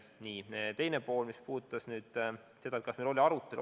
Küsimuse teine pool oli, kas meil oli arutelu.